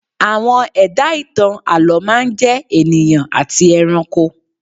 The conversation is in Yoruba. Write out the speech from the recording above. Àwọn ẹ̀dá ìtàn àlọ́ máa ń jẹ́ ènìyàn àti ẹranko